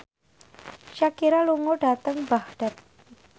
Shakira lunga dhateng Baghdad